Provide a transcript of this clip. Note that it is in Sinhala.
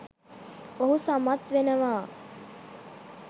ඔහු සමත් වෙනවා.